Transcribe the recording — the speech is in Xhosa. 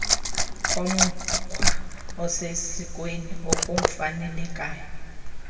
komkhwa osesikweni akufanelekanga